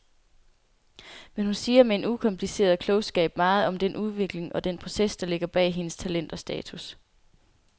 Men hun siger med en ukompliceret klogskab meget om den udvikling og den proces, der ligger bag hendes talent og status.